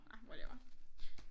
Ah whatever